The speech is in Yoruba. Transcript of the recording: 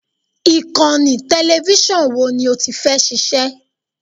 Ìkànnì tẹlẹfísọ̀n wo ni ó ti fẹ́ ṣiṣẹ́?